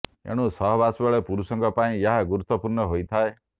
ଏଣୁ ସହବାସ ବେଳେ ପୁରୁଷଙ୍କ ପାଇଁ ଏହା ଗୁରୁତ୍ୱପୂର୍ଣ୍ଣ ହୋଇଥାଏ